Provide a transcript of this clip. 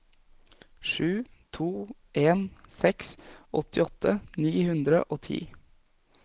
sju to en seks åttiåtte ni hundre og ti